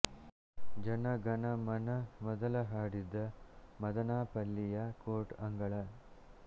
ಜನ ಗನಾ ಮನ ಮೊದಲು ಹಾಡಿದ್ದ ಮದನಾಪಲ್ಲಿಯ ಕೋರ್ಟ್ ಅಂಗಳ